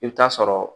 I bɛ taa sɔrɔ